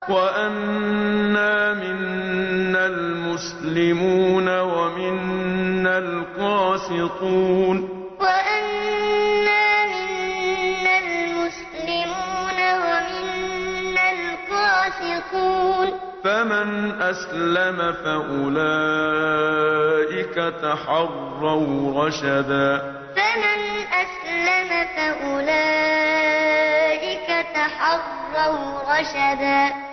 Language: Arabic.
وَأَنَّا مِنَّا الْمُسْلِمُونَ وَمِنَّا الْقَاسِطُونَ ۖ فَمَنْ أَسْلَمَ فَأُولَٰئِكَ تَحَرَّوْا رَشَدًا وَأَنَّا مِنَّا الْمُسْلِمُونَ وَمِنَّا الْقَاسِطُونَ ۖ فَمَنْ أَسْلَمَ فَأُولَٰئِكَ تَحَرَّوْا رَشَدًا